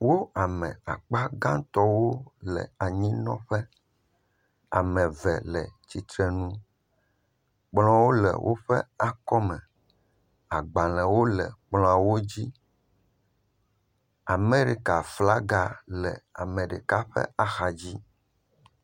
Wo ame akpa gãtɔwo le anyinɔƒe, ame eve le tsitre nu, kplɔwo le woƒe akɔ me, agbalẽwo le kplɔawo dzi. Amerika flaga le ame ɖeka ƒe axa dzi